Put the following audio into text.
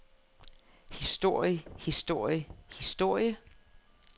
historie historie historie